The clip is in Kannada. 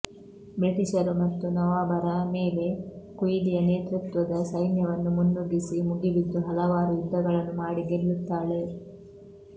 ಬ್ರಿಟಿಶರು ಮತ್ತು ನವಾಬರ ಮೇಲೆ ಕುಯಿಲಿಯ ನೇತೃತ್ವದ ಸೈನ್ಯವನ್ನು ಮುನ್ನುಗ್ಗಿಸಿ ಮುಗಿಬಿದ್ದು ಹಲವಾರು ಯುದ್ಧಗಳನ್ನು ಮಾಡಿ ಗೆಲ್ಲುತ್ತಾಳೆ